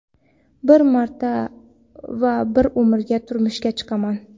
Bir marta va bir umrga turmushga chiqaman.